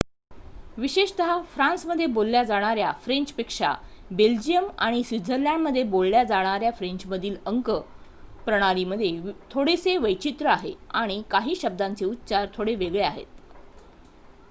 विशेषतः फ्रान्समध्ये बोलल्या जाणाऱ्या फ्रेंचपेक्षा बेल्जिअम आणि स्वित्झर्लंडमध्ये बोलल्या जाणाऱ्या फ्रेंचमधील अंक प्रणालीमध्ये थोडेसे वैचित्र्य आहे आणि काही शब्दांचे उच्चार थोडे वेगळे आहेत